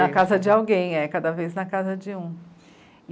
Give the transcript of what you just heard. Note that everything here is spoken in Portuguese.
Na casa de alguém, é, cada vez na casa de um.